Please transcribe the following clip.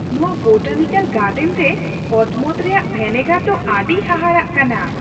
ᱱᱚᱶᱟ botanical garden ᱨᱮ ᱚᱛᱢᱚᱱ ᱨᱮᱭᱟᱜ ᱵᱷᱮᱱᱮᱜᱟᱨ ᱫᱚ ᱟᱹᱰᱤ ᱦᱟᱦᱟᱲᱟᱜ ᱠᱟᱱᱟ ᱾